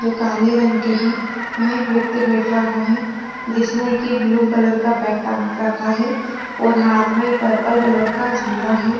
जो काले रंग के है यहाँ एक व्यक्ति बैठ रहा है जिसने की ब्लू कलर का बॅग टांग रखा है और हाथ में पर्पल कलर का झोला है।